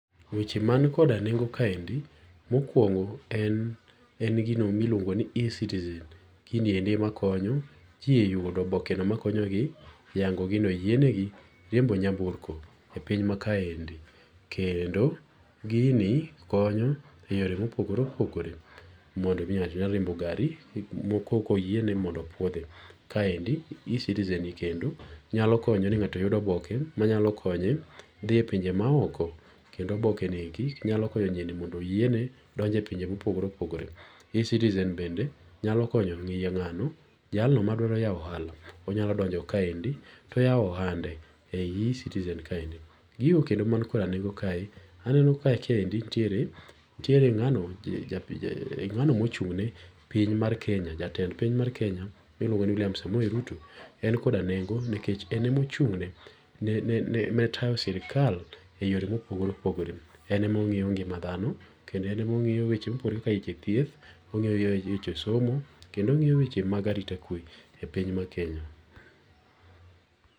Weche manikoda nengo' kaendi mokuongo en, en gino mi iluongo ni eCitizen giniendi emakonyo ji e yudo obokeno makonyogi yango' gino oyienegi riembo nyamburko e piny ma kaendi. Kendo gini konyo e yore ma opogore opogore mondo omi nga'to nyalo riembo gari[ccs] mokoko oyiene ni mondo opuothi. Kaendi eCitizen kendo nyalo konyo ni ng’ato yudo oboke manyalo konye thie e pinje maoko kendo obokenieki nyalo konyo nyieni mondo omi oyiene donje e pinje ma opogore opogore. eCitizen bende nyalo konyo ngi'yo nga'no jalno ma dwa yao ohala onyalo donjo kaendi to oyawo ohande e eCitizen kaendi. Gigo kendo man koda nengo' kaendi aneno ka endi nitiere nga'no ngano ma ochung'ne piny mar Kenya jatend piny mar Kenya William Samoei Ruto en koda nengo nikech ene ma ochungne ne tayo sirikal e yore ma opogore opogore, enema ongi'yo ngima thano kendo enemo ongiyo weche ma opogore kaka weche thieth ongi'yo weche somo kendo ongi'yo weche mag arita kwe e piny mar Kenya